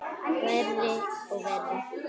Verri og verri.